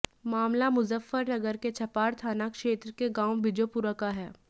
मामला मुजफ्फरनगर के छपार थाना क्षेत्र के गांव बिजोपुरा का है